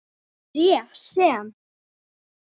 Bréf, sem